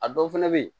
A dɔw fɛnɛ be yen